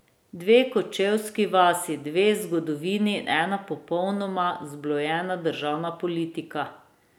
Dve kočevski vasi, dve zgodovini in ena popolnoma zblojena državna politika.